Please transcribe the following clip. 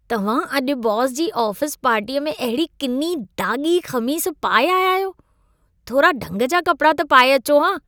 तव्हां अॼु बॉस जी आफ़ीस पार्टीअ में अहिड़ी किनी दाॻी ख़मीस पाए आया आहियो। थोरा ढंग जा कपिड़ा त पाए अचो हा।